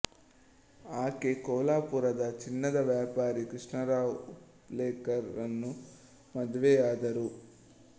ಆಕೆ ಕೋಲ್ಹಪುರದ ಚಿನ್ನದ ವ್ಯಾಪಾರೀ ಕೃಷ್ಣರಾವ್ ಉಪ್ಲೆಕರ್ ರನ್ನು ಮದುವೆಯಾದರು